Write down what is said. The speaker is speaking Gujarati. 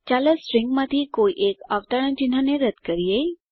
ચાલો સ્ટ્રીંગમાંથી કોઈ એક અવતરણ ચિહ્ન ને રદ્દ કરીએ